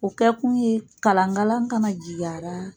O kɛ kun ye kalankalan kana jigi a ra